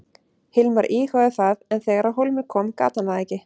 Hilmar íhugaði það en þegar á hólminn kom gat hann það ekki.